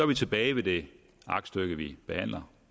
vi tilbage ved det aktstykke vi behandler